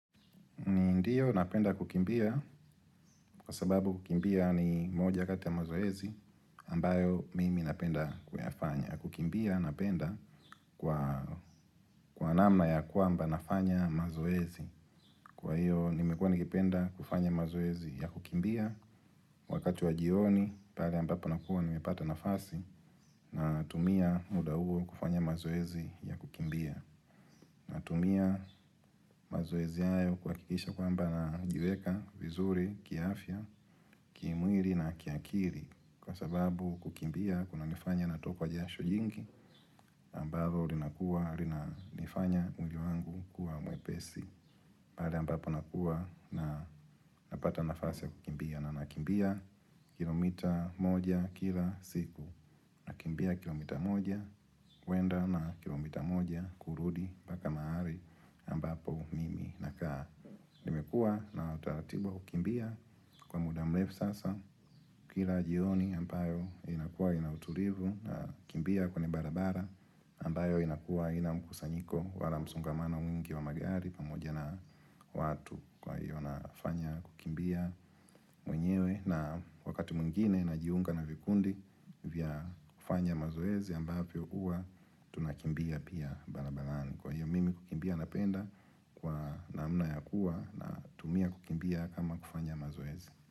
Ndiyo napenda kukimbia kwa sababu kukimbia ni moja kati ya mazoezi ambayo mimi napenda kuyafanya. Kukimbia napenda kwa namna ya kwamba nafanya mazoezi. Kwa hiyo nimekuwa nikipenda kufanya mazoezi ya kukimbia wakati wa jioni pale ambapo nakuwa nimepata nafasi natumia muda huo kufanya mazoezi ya kukimbia. Natumia mazoezi hayo kuhakikisha kwamba najiweka, vizuri, kiafya, kimwili na kiakili kwa sababu kukimbia kunanifanya natokwa jasho jingi ambalo linakua linanifanya mwili wangu kuwa mwepesi. Pale ambapo nakuwa napata nafasi ya kukimbia na ninakimbia kilomita moja kila siku nakimbia kilomita moja kwenda na kilomita moja kurudi mpaka mahali ambapo mimi nakaa Nimekuwa na utaratibu wa kukimbia kwa muda mrefu sasa Kila jioni ambayo inakuwa in autulivu na kimbia kwenye barabara ambayo inakuwa haina mkusanyiko wala msongamano mwingi wa magari pamoja na watu kwa hiyo nafanya kukimbia mwenyewe na wakati mwingine najiunga na vikundi vya kufanya mazoezi ambavyo huwa tunakimbia pia barabarani. Kwa hiyo mimi kukimbia napenda kwa namna ya kuwa na umia kukimbia kama kufanya mazoezi.